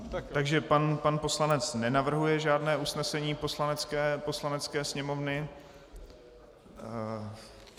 Takže pan poslanec nenavrhuje žádné usnesení Poslanecké sněmovny.